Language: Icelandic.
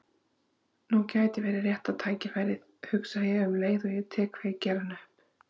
Nú gæti verið rétta tækifærið, hugsa ég um leið og ég tek kveikjarann upp.